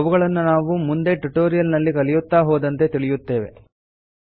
ಅವುಗಳನ್ನು ನಾವು ಮುಂದೆ ಟ್ಯುಟೋರಿಯಲ್ ನ್ನು ಕಲಿಯುತ್ತಾ ಹೋದಂತೆ ತಿಳಿಯುತ್ತೇವೆ